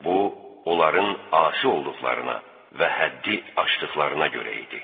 Bu onların asi olduqlarına və həddi aşdıqlarına görə idi.